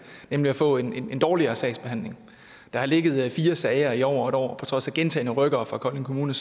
nemlig at få en dårligere sagsbehandling der har ligget fire sager i over et år og på trods af gentagne rykkere fra kolding kommune